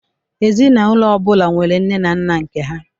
Ezinaụlọ ọbụla nwere nne na nna nke ha